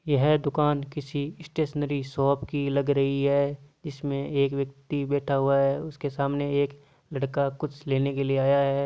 यह दुकान किसी स्टेशनरी शॉप की लग रही है इसमे एक व्यक्ति बेठा हुआ है उसके सामने एक लड़का कुछ लेने के लिए आया है।